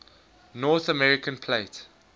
north american plate